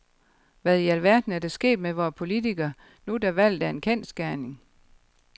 Hvad i alverden er der sket med vore politikere, nu da valget er en kendsgerning?